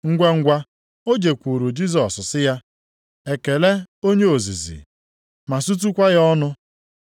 Ngwangwa o jekwuuru Jisọs sị ya, “Ekele, Onye ozizi!” ma sutukwa ya ọnụ.